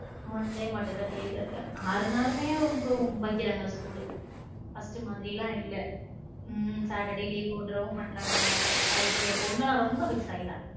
one day மட்டும்தான் leave இருக்கு ஆறு நாளுமே இப்போ வைக்கிறாங் school first மாதிரி எல்லாம் இல்ல saturday leave விடவும் மாட்டாங்க என் பொண்ணு எல்லாம் ரொம்ப vex ஆகிற.